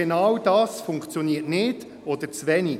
Genau das funktioniert nicht oder zu wenig.